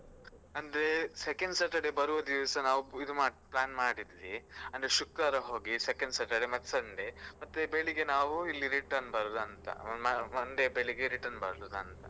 ಅಂದ್ರೆ second Saturday ಬರುವ ದಿವ್ಸ ನಾವು ಇದು plan ಮಾಡಿದ್ವಿ ಅಂದ್ರೆ ಶುಕ್ರವಾರ ಹೋಗಿ second Saturday ಮತ್ತೆ sunday ಮತ್ತೆ ಬೆಳಿಗ್ಗೆ ನಾವು ಇಲ್ಲಿ return ಬರುದಂತ monday ಬೆಳಿಗ್ಗೆ return ಬರುದಂತ.